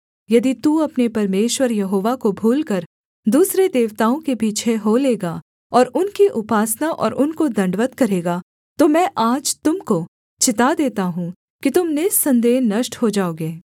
यदि तू अपने परमेश्वर यहोवा को भूलकर दूसरे देवताओं के पीछे हो लेगा और उनकी उपासना और उनको दण्डवत् करेगा तो मैं आज तुम को चिता देता हूँ कि तुम निःसन्देह नष्ट हो जाओगे